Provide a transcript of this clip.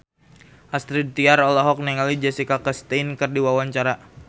Astrid Tiar olohok ningali Jessica Chastain keur diwawancara